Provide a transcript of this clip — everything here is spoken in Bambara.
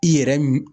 I yɛrɛ mi